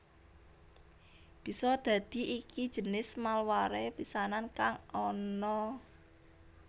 Bisa dadi iki jinis malware pisanan kang ana